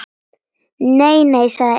Nei, nei, sagði Emil.